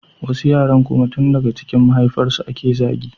Wasu yaran kuma tun daga cikin mahaifiyarsu ake zagi